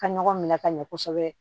Ka ɲɔgɔn minɛ ka ɲɛ kosɛbɛ